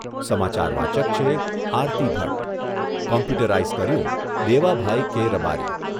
સમાચાર વાચક છે આરતી ભટ્ટ. કોમ્પ્યુટરરાઈઝ કર્યું દેવાભાઈ કે રબારી